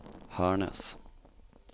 Hernes